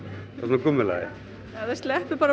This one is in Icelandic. gúmmulaði ef það sleppir bara